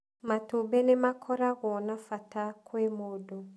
Matumbĩ nĩmakoragũo na bata kwĩ mũndũ